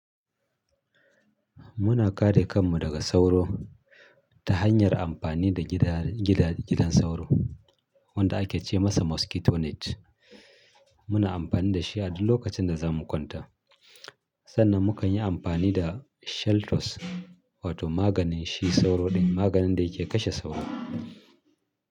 Muna kare kanmu daga sauro ta hanyar amfani da gidan sauro wanda ake ce masa mosquito net. Muna amfani da shi a duk lokacin da za mu kwanta. Sannan mukan yi amfani da shaltos, wato maganin shi sauro ɗin, maganin da yake kashe sauro.